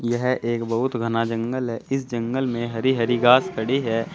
यह एक बहुत घना जंगल है इस जंगल में हरी हरी घास खड़ी है।